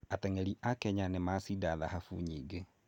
Ateng'eri a Kenya nĩ macinda thahabu nyingĩ.